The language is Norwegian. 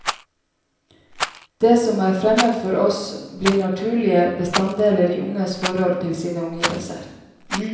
Det som er fremmed for oss, blir naturlige bestanddeler i unges forhold til sine omgivelser.